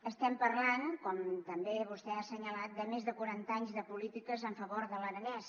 estem parlant com també vostè ha assenyalat de més de quaranta anys de polítiques en favor de l’aranès